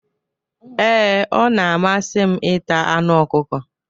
Ee, ọ na-amasị m ịta anụ ọkụkọ.